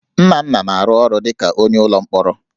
Nnanna na-arụ ọrụ dịka onye ọrụ ụlọ mkpọrọ